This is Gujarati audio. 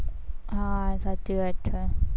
હા સાચી વાત છે.